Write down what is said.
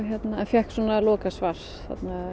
fékk svo lokasvar